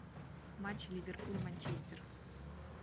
матч ливерпуль манчестер